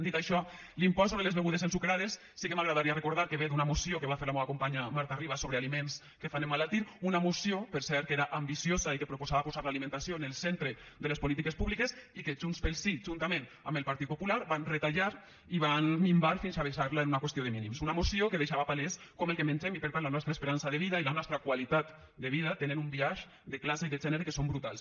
dit això l’impost sobre les begudes ensucrades sí que m’agradaria recordar que ve d’una moció que va fer la meua companya marta ribas sobre aliments que fan emmalaltir una moció per cert que era ambiciosa i que proposava posar l’alimentació en el centre de les polítiques públiques i que junts pel sí juntament amb el partit popular van retallar i van minvar fins a deixar la en una qüestió de mínims una moció que deixava palès com el que mengem i per tant la nostra esperança de vida i la nostra qualitat de vida tenen un biaix de classe i de gènere que són brutals